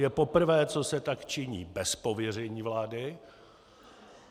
Je poprvé, kdy se tak činí bez pověření vlády.